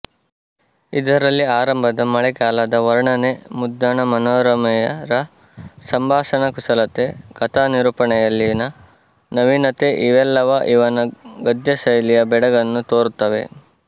ಇದರಲ್ಲಿ ಆರಂಭದ ಮಳೆಗಾಲದ ವರ್ಣನೆ ಮುದ್ದಣ ಮನೋರಮೆಯರ ಸಂಭಾಷಣಾಕುಶಲತೆ ಕಥಾನಿರೂಪಣೆಯಲ್ಲಿನ ನವೀನತೆ ಇವೆಲ್ಲವ ಇವನ ಗದ್ಯಶೈಲಿಯ ಬೆಡಗನ್ನು ತೋರುತ್ತವೆ